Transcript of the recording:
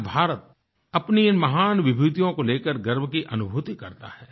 आज भारत अपनी इन महान विभूतियों को लेकर गर्व की अनुभूति करता है